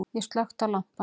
Ég slökkti á lampanum.